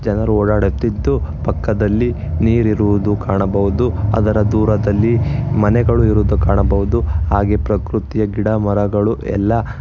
ಜನರ ಓಡಾಡುತ್ತಿದ್ದು ಪಕ್ಕದಲ್ಲಿ ನೀರಿರುವುದು ಕಾಣಬಹುದು ಅದರ ದೂರದಲ್ಲಿ ಮನೆಗಳು ಇರುವುದು ಕಾಣಬಹುದು ಹಾಗೆ ಪ್ರಕೃತಿಯ ಗಿಡ ಮರಗಳು ಎಲ್ಲಾ--